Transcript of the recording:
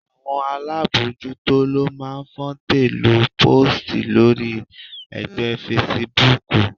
Àwọn alábojútó ló máa ń fòǹtẹ̀-lu póòstì lórí ẹgbẹ́ fesibúùkù